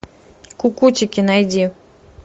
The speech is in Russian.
кукутики найди